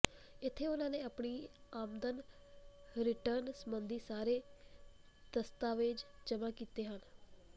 ਇਥੇ ਉਨ੍ਹਾਂ ਨੇ ਆਪਣੀ ਆਮਦਨ ਰਿਟਰਨ ਸਬੰਧੀ ਸਾਰੇ ਦਸਤਾਵੇਜ਼ ਜਮਾਂ ਕੀਤੇ ਹਨ